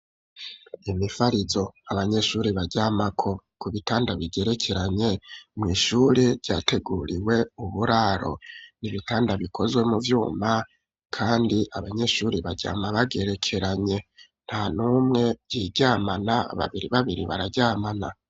Imifarizo abanyeshuri baryamako, ku bitanda bigerekeranye, mw' ishuri ryateguriwe uburaro ,n'ibitanda bikozwe mu vyuma, kandi abanyeshuri baryama bagerekeranye ,nta numwe yiryamana ,babiri babiri bararyamana.